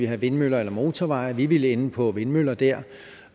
have vindmøller eller motorveje vi ville ende på vindmøller der